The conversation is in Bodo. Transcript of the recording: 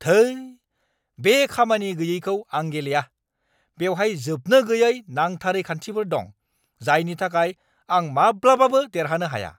धोइ, बे खामानि गैयैखौ आं गेलेया। बेवहाय जोबनो गैयै नांथारै खान्थिफोर दं जायनि थाखाय आं माब्लाबाबो देरहानो हाया।